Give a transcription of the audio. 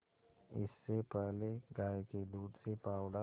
इससे पहले गाय के दूध से पावडर